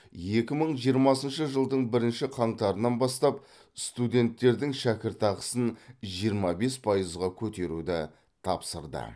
екі мың жиырмасыншы жылдың бірінші қаңтарынан бастап студенттердің шәкіртақысын жиырма бес пайызға көтеруді тапсырды